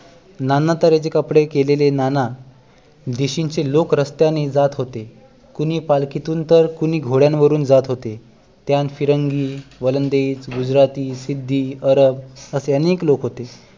नाना तऱ्हेचे कपडे केलेले नाना देशींचे लोक रस्त्याने जात होते कुणी पालखीतून तर कुणी घोड्यां वरून जात होते त्यात फिरंगी वलंदेज गुजराथी सिद्धी अरब असे अनेक लोक होते